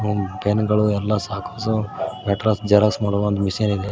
ಹಾಗು ಪೆನ್ ಗಳು ಎಲ್ಲಾ ಸಹಕಾಸು ಲೆಟರ್ಸ್ ಜೆರಾಕ್ಸ್ ಮಾಡುವ ಮಿಷನ್ ಇದೆ.